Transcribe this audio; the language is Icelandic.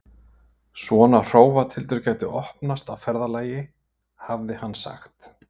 Svona hrófatildur gæti opnast á ferðalagi, hafði hann sagt.